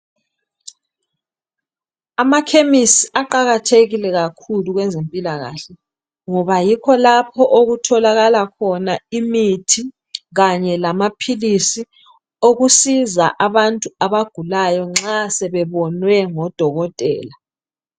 Amakhemisi aqakathekile kakhulu kwezempilakahle ngoba yikho lapho okutholakala khona imithi kanye lamaphilisi okusiza abantu abagulayo nxa sebebonwe ngodokotela.